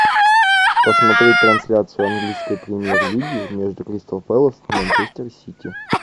посмотреть трансляцию английской премьер лиги между кристал пэлас и манчестер сити